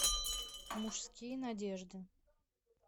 мужские надежды